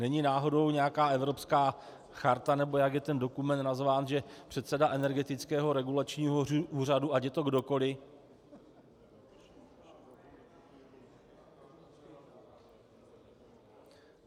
Není náhodou nějaká evropská charta, nebo jak je ten dokument nazván, že předseda Energetického regulačního úřadu, ať je to kdokoli...